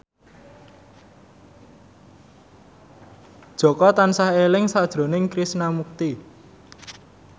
Jaka tansah eling sakjroning Krishna Mukti